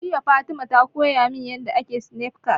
Jiya Fatima ta koya min yanda ake Snafcat